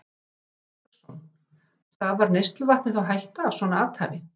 Hafsteinn Hauksson: Stafar neysluvatni þá hætta af svona athæfi?